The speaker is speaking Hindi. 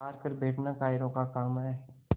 हार कर बैठना कायरों का काम है